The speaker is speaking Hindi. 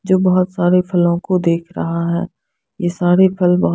जो बहोत सारे फलो को देख रहा है ये सारे फल बहोत --